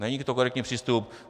Není to korektní přístup.